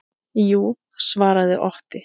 Jú, svaraði Otti.